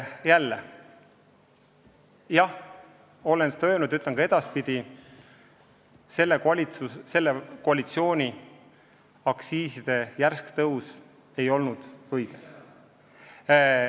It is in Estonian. Jah, ma olen seda öelnud ja ütlen ka edaspidi: selle koalitsiooni tehtud aktsiiside järsk tõus ei olnud õige.